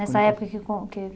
Nessa época que com que